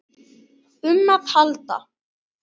um að halda.